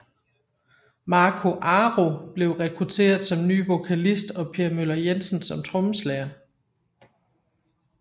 Marco Aro blev rekruteret som ny vokalist og Per Möller Jensen som trommeslager